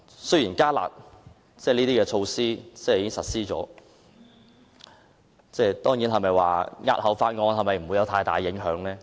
雖然"加辣"措施已經實施，但押後討論《條例草案》是否沒有太大影響？